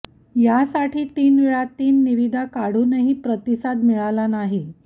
यासाठी तीनवेळा तीन निविदा काढूनही प्रतिसाद मिळाला नाही